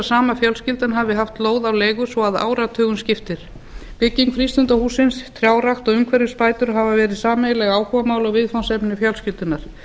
sama fjölskyldan hafi haft lóð á leigu svo að áratugum skiptir bygging frístundahússins trjárækt og umhverfisbætur hafa verið sameiginleg áhugamál og viðfangsefni fjölskyldunnar